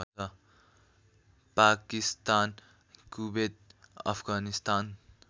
Pakistan Kuwait Afghanistan